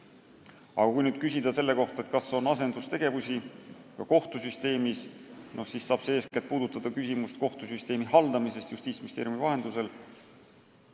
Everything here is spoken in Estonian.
Aga kui nüüd küsida selle kohta, kas on asendustegevust ka kohtusüsteemis, siis see saab puudutada eeskätt kohtusüsteemi haldamist Justiitsministeeriumi vahendusel.